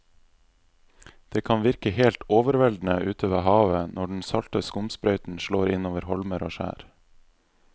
Det kan virke helt overveldende ute ved havet når den salte skumsprøyten slår innover holmer og skjær.